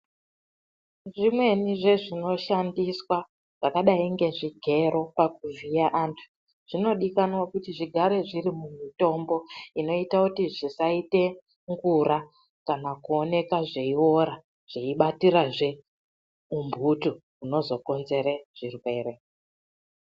Zvimweni zvezvinoshandiswa zvakadai ngezvigero pakuvhiya antu zvinodikanwa kuti zvigare zvineMutombo inoite kuti zvisaite ngura kana kuti zvisaoneka zveiora kana kubatira zve humbutu hunozokonzere zvirwere.